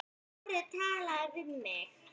Smári talaði við þig?